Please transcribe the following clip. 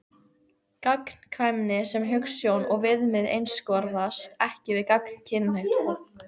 Gagnkvæmni sem hugsjón og viðmið einskorðast ekki við gagnkynhneigt fólk.